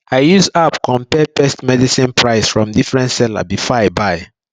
i use app compare pest medicine price from different seller before i buy